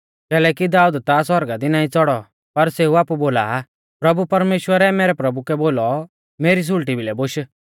कैलैकि दाऊद ता सौरगा दी नाईं च़ौड़ौ पर सेऊ आपु बोला आ प्रभु परमेश्‍वरै मैरै प्रभु कै बोलौ मेरी सुल़टी भिलै बोश